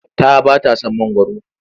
Ta ba ta son mangwaro.